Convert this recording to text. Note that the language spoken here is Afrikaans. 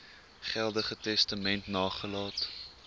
geldige testament nagelaat